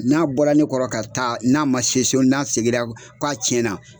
N'a bɔra ne kɔrɔ ka taa n'a ma se so n'a seginna k'a tiɲɛna.